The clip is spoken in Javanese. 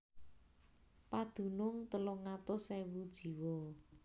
Padunung telung atus ewu jiwa